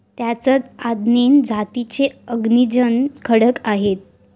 त्यातच आदैन जातीचे अग्निजन्य खडक आहेत.